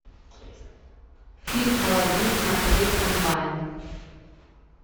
ильм алладин смотреть онлайн